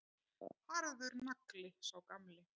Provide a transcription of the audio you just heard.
Harður nagli, sá gamli.